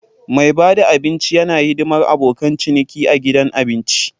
Mai bada abinci yana hidimar abokan ciniki a gidan abinci.